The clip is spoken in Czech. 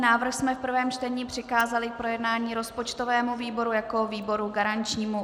Návrh jsme v prvém čtení přikázali k projednání rozpočtovému výboru jako výboru garančnímu.